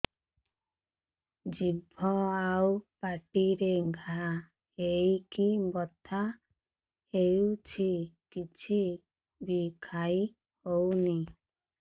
ଜିଭ ଆଉ ପାଟିରେ ଘା ହେଇକି ବଥା ହେଉଛି କିଛି ବି ଖାଇହଉନି